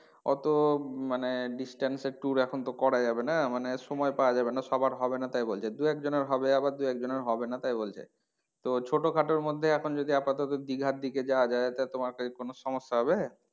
অতো মানে distance এর tour এখন তো করা যাবে না মানে সময় পাওয়া যাবে না সবার হবে না তাই বলছে দু একজনের হবে আবার দু একজনের হবে না তাই বলছে তো ছোটো খাটো মধ্যে এখন যদি আপাতত দিঘার দিকে যাওয়া যায় তো তোমার কি কোনো সমস্যা হবে?